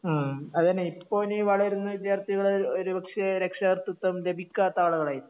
ഉം അതന്നെ ഇപ്പോ ഇനി വളരുന്ന വിദ്യാർത്ഥികള് ഒരുപക്ഷേ രക്ഷകർതൃത്വം ലഭിക്കാത്ത ആളുകളായിരിക്കും